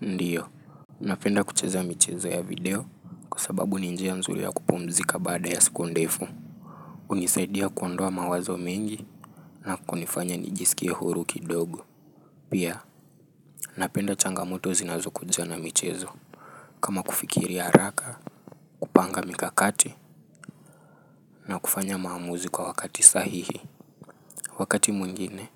Ndiyo, napenda kucheza michezo ya video kwasababu ninjia nzuri ya kupumzika baada ya siku ndefu. Hunisaidia kuondoa mawazo mengi na kunifanya nijisikie huru kidogo. Pia, napenda changamoto zinazokujana michezo. Kama kufikiri haraka, kupanga mikakati na kufanya maamuzi kwa wakati sahihi. Wakati mwingine,